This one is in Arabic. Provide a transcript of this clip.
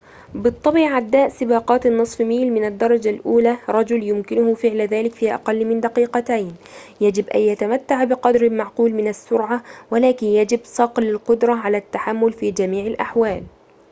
بالطبع عداء سباقات النصف ميل من الدرجة الأولى رجل يمكنه فعل ذلك في أقل من دقيقتين يجب أن يتمتع بقدر معقول من السرعة ولكن يجب صقل القدرة على التحمل في جميع الأحوال